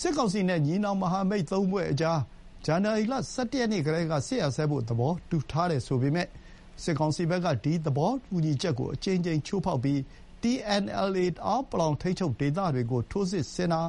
စစ်ကောင်စီနဲ့ ညီနောင်မဟာမိတ်သုံးဖွဲ့ကြား ဇန်နဝါရီလ ၁၁ ရက်နေ့ကတည်းက စစ်ရပ်စဲဖို့ သဘောတူထားတယ်ဆိုပေမယ့် စစ်ကောင်စီဘက်က ဒီ သဘောတူညီချက်ကို အကြိမ်ကြိမ်ချိုးဖောက်ပြီး TNLA တအောင်းပလောဝ် ထိန်းချုပ်ဒေသတွေကို ထိုးစစ်ဆင်တာ